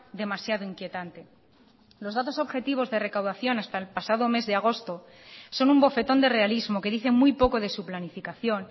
demasiado inquietante los datos objetivos de recaudación hasta el pasado mes de agosto son un bofetón de realismo que dice muy poco de su planificación